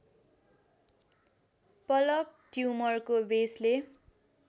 पलक ट्युमरको बेसल